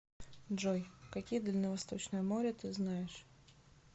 джой какие дальневосточное море ты знаешь